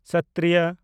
ᱥᱚᱛᱛᱨᱤᱭᱚ